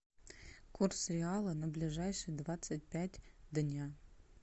курс реала на ближайшие двадцать пять дня